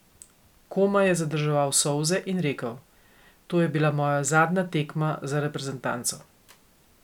Komaj je zadrževal solze in rekel: "To je bila moja zadnja tekma za reprezentanco.